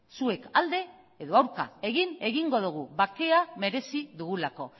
zuek alde edo aurka egin egingo dugu bakea merezi dugulako